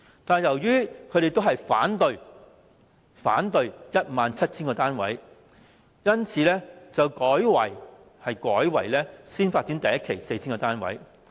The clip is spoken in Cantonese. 但是，由於他們一致反對興建 17,000 個單位，因此後來改為第1期先發展 4,000 個單位。